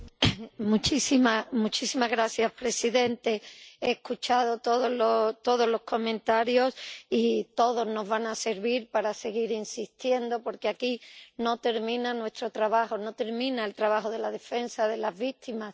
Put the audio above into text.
Señor presidente, he escuchado todos los comentarios y todos nos van a servir para seguir insistiendo, porque aquí no termina nuestro trabajo, no termina el trabajo de la defensa de las víctimas